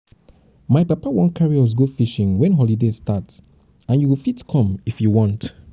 my papa wan carry us go fishing wen holiday start and you go fit come if you want